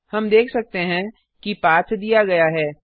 हम देख सकते हैं कि पाथ दिया गया है